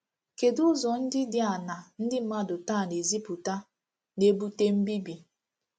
Kedu Ụzọ ndị dị aṅaa ndị mmadụ taa na-ezipụta na-ebute mbíbì?